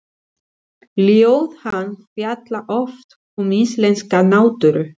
Ljóð hans fjalla oft um íslenska náttúru.